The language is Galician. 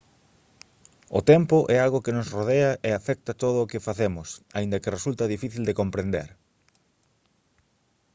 o tempo é algo que nos rodea e afecta todo o que facemos aínda que resulta difícil de comprender